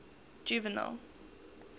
juvenal